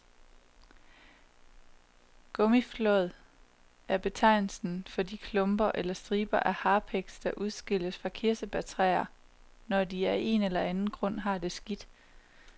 Gummiflåd er betegnelsen for de klumper eller striber af harpiks, der udskilles fra kirsebærtræer, når de af en eller anden grund har det skidt.